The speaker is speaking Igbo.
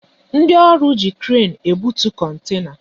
Ndị ọrụ ji kren ebutu kontena